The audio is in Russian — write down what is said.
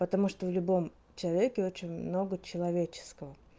потому что в любом человеке очень много человеческого